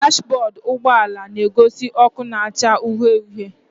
Dashbọdụ ụgbọala na-egosi ọkụ na-acha uhie uhie